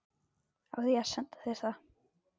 Á ég að senda þér það?